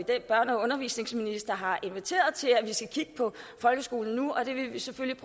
at børne og undervisningsministeren har inviteret til at vi nu skal kigge på folkeskolen og vi vil selvfølgelig